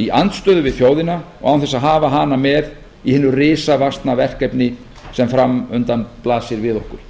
í andstöðu við þjóðina og án þess að hafa hana með í hinu risavaxna verkefni sem fram undan blasir við okkur